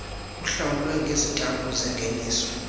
uhlawulwe ngezitampu zengeniso